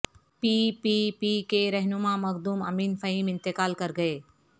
پی P P کے رہنما مخدوم امین فہیم انتقال کر گئے